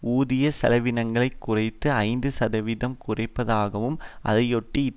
ஊதிய செலவினங்களை குறைந்தது ஐந்து சதவிகிதம் குறைப்பதாகவும் அதையொட்டி